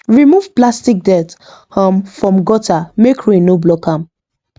remove plastic dirt um from gutter make rain no block am